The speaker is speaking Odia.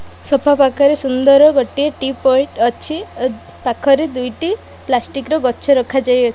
ସୋଫା ପାଖରେ ସୁନ୍ଦର୍ ଗୋଟିଏ ଟିପଏ ଟି ଅଛି ଓ ପାଖରେ ଦୁଇଟି ପ୍ଲାଷ୍ଟିକ ର ଗଛ ରଖାଯାଇ ଅ --